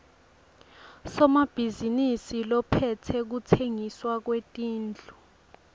somabhizinisi lophetse kutsengiswa kwetindlu